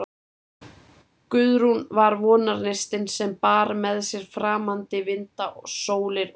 Guðrún var vonarneistinn, sem bar með sér framandi vinda og sólir, og